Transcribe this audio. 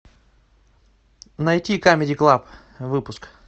найти камеди клаб выпуск